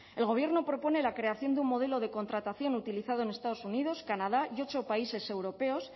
el gobierno propone la creación de un modelo de contratación utilizado en estados unidos canadá y ocho países europeos